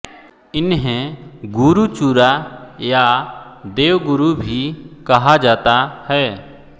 इन्हें गुरु चुरा या देवगुरु भी कहा जाता है